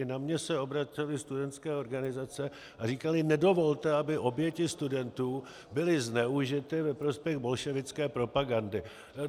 I na mě se obracely studentské organizace a říkaly: nedovolte, aby oběti studentů byly zneužity ve prospěch bolševické propagandy.